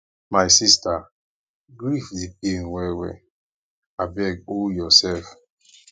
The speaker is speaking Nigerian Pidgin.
my sister grief dey pain well well abeg hol yoursef